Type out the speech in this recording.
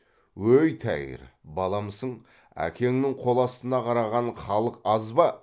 өй тәйір баламысың әкеңнің қол астына қараған халық аз ба